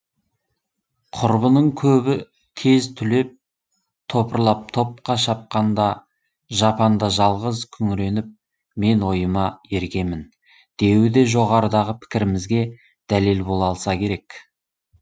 құрбының көбі тез түлеп топырлап топқа шапқанда жапанда жалғыз күңіреніп мен ойыма ергемін деуі жоғарыдағы пікірімізге дәлел бола алса керек